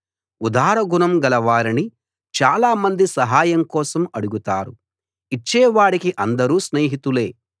ఉదార గుణం గలవారిని చాలామంది సహాయం కోసం అడుగుతారు ఇచ్చేవాడికి అందరూ స్నేహితులే